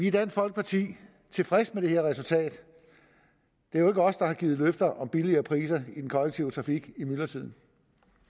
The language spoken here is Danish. i dansk folkeparti tilfredse med det her resultat det er jo ikke os der har givet løfter om billigere priser i den kollektive trafik i myldretiden